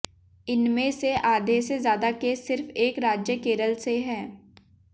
इनमें से आधे से ज्यादा केस सिर्फ एक राज्य केरल से हैं